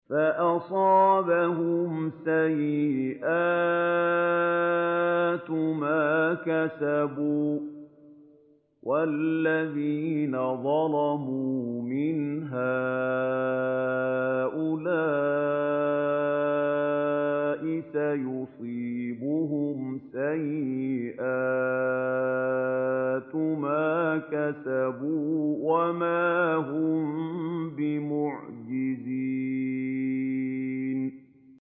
فَأَصَابَهُمْ سَيِّئَاتُ مَا كَسَبُوا ۚ وَالَّذِينَ ظَلَمُوا مِنْ هَٰؤُلَاءِ سَيُصِيبُهُمْ سَيِّئَاتُ مَا كَسَبُوا وَمَا هُم بِمُعْجِزِينَ